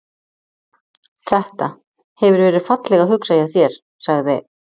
Þetta. hefur verið fallega hugsað hjá þér- sagði